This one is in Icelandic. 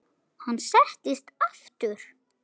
Hann settist aftur.